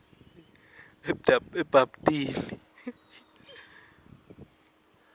ebabtini